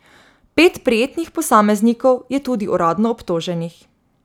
Pet prijetih posameznikov je tudi uradno obtoženih.